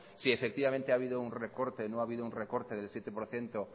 si efectivamente ha habido un recorte o no ha habido un recorte del siete por ciento